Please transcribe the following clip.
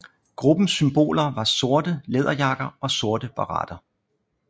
Gruppens symboler var sorte læderjakker og sorte baretter